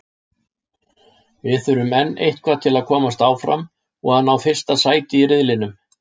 Við þurfum enn eitthvað til að komast áfram og að ná fyrsta sæti í riðlinum.